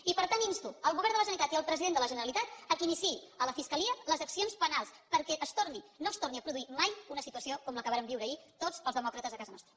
i per tant insto el govern de la generalitat i el president de la generalitat que iniciïn a la fiscalia les accions penals perquè no es torni a produir mai una situació com la que vàrem viure ahir tots els demòcrates a casa nostra